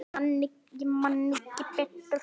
Ég man ekki betur.